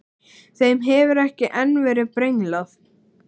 Þeim hefur ekki enn verið brenglað.